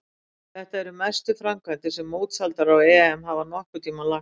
Þetta eru mestu framkvæmdir sem mótshaldarar á EM hafa nokkurn tímann lagt í.